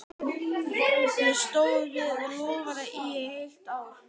Ég stóð við það loforð í heilt ár.